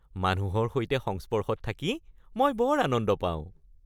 মানুহৰ সৈতে সংস্পৰ্শত থাকি মই বৰ আনন্দ পাওঁ।